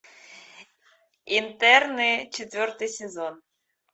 интерны четвертый сезон